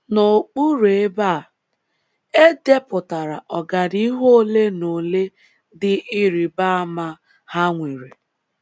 N’okpuru ebe a, e depụtara ọganihu ole na ole dị ịrịba ama ha nwere.